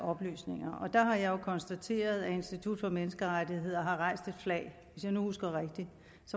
oplysninger der har jeg jo konstateret at institut for menneskerettigheder har hejst et flag hvis jeg husker rigtigt